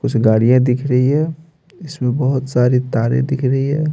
कुछ गाड़ियाँ दिख रही हैं इसमें बहोत सारी तारे दिख रही हैं।